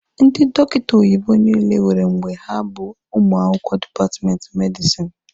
Ndị dọkịta oyibo niile nwere mgbe ha bụ ụmụ akwụkwọ dipatmenti medisini